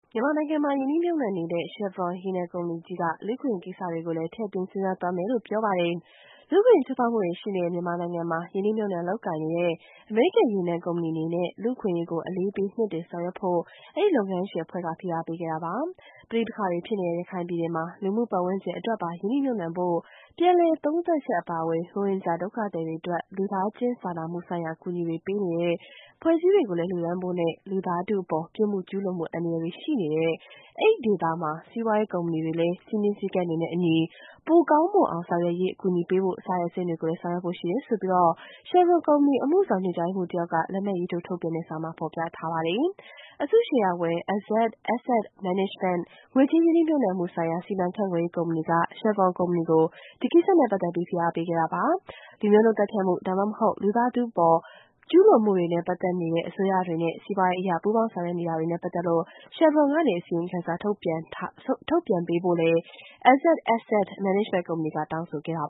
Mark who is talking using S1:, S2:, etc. S1: မြန်မာနိုင်ငံမှာ ရင်းနှီးမြှုပ်နှံနေတဲ့ Chevron ရေနံကုမ္ပဏီကြီးက လူ့အခွင့်အရေးကိစ္စကိုလည်း ထည့်သွင်းစဉ်းစားသွားမယ်လို့ ပြောပါတယ်။ လူ့အခွင့်အရေး ချိုးဖောက်မှုတွေရှိနေတဲ့ မြန်မာနိုင်ငံမှာ ရင်းနှီးမြှုပ်နှံလုပ်ကိုင်နေတဲ့ အမေရိကန် ရေနံကုမ္ပဏီအနေနဲ့ လူ့အခွင့်အရေးကို အလေးပေး မြှင့်တင်ဆောင်ရွက်ဖို့ အဲဒီ လုပ်ငန်းရှင်အဖွဲ့က ဖိအားပေးခဲ့တာ ဖြစ်ပါတယ်။ ပဋိပက္ခတွေဖြစ်နေတဲ့ ရခိုင်ပြည်နယ်မှာ လူမှုပတ်ဝန်းကျင်အတွက်ပါ ရင်းနှီးမြှုပ်နှံဖို့ ပြန်လည်သုံးသပ်ချက်အပါအဝင် ရိုဟင်ဂျာ ဒုက္ခသည်တွေအတွက် လူသားချင်းစာ နာမှုဆိုင်ရာအကူအညီတွေ ပေးနေတဲ့ အဖွဲ့အစည်းတွေကို လှူဒါန်းဖို့နဲ့ လူသားထုအပေါ် ပြစ်မှုကျူးလွန်မှု အန္တရာယ်တွေရှိနေတဲ့ အဲဒီဒေသမှာ စီးပွားရေး ကုမ္ပဏီတွေအတွက် စည်းမျဉ်းစည်းကမ်းတွေနဲ့အညီ ပိုမိုကောင်းမွန်အောင် ဆောင်ရွက်ရေး အကူအညီပေးဖို့ စတဲ့ အဆင့်တွေကို ဆောင်ရွက်ဖို့ရှိကြောင်း Chevron ကုမ္ပဏီ အမှုဆောင်ညွန်ကြားရေးမှူးတဦး လက်မှတ်ရေးထိုးထုတ်ပြန်တဲ့ စာမှာဖေါ်ပြထားပါတယ်။ အစုရှယ်ယာဝင် Azzad Asset Management ငွေကြေးရင်းနှီးမြှုပ်နှံမှုဆိုင်ရာ စီမံခန့်ခွဲရေးကုမ္ပဏီက Chevron ကုမ္ပဏီကို ဒီကိစ္စနဲ့ ပတ်သက်လို့ ဖိအားပေးခဲ့တာ ဖြစ်ပါတယ်။ လူမျိုးတုန်းသတ်ဖြတ်မှု ဒါမှမဟုတ် လူသားထုအပေါ် ကျူးလွန်မှုတွေနဲ့ ပတ်သက်နေတဲ့ အစိုးရတွေနဲ့ စီးပွားရေးအရ ပူးပေါင်း လုပ်ကိုင်နေတာတွေနဲ့ပတ်သက်လို့ Chevron ကနေ အစီရင်ခံစာ ထုတ်ပြန်ပေးဖို့ Azzad Asset Management ကုမ္ပဏီက
S2: တောင်းဆိုခဲ့တာ